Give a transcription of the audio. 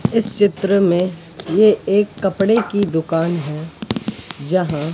इस चित्र में ये एक कपड़े की दुकान है जहां--